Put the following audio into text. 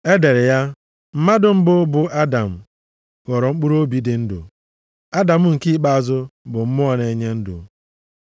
E dere ya, “Mmadụ mbụ, bụ Adam, ghọrọ mkpụrụobi dị ndụ, Adam nke ikpeazụ bụ mmụọ na-enye ndụ.” + 15:45 \+xt Jen 2:7\+xt*